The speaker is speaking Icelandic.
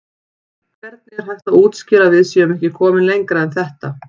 Hvernig er hægt að útskýra að við séum ekki komin lengra en þetta?